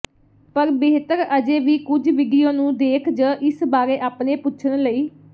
ਪਰ ਬਿਹਤਰ ਅਜੇ ਵੀ ਕੁਝ ਵੀਡੀਓ ਨੂੰ ਦੇਖ ਜ ਇਸ ਬਾਰੇ ਆਪਣੇ ਪੁੱਛਣ ਲਈ